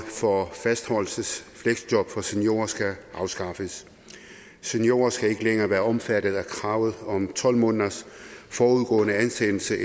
for fastholdelsesfleksjob for seniorer skal afskaffes seniorer skal ikke længere være omfattet af kravet om tolv måneders forudgående ansættelse